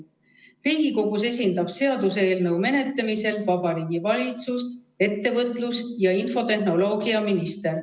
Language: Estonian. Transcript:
Riigikogus esindab seaduseelnõu menetlemisel Vabariigi Valitsust ettevõtlus- ja infotehnoloogiaminister.